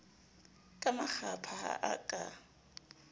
ka makgapha ha o ka